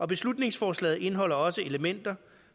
beslutningsforslaget indeholder også elementer